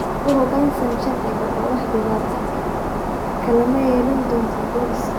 U hoggaansan sharciga, oo wax dhibaato ah kalama yeelan doontan booliska.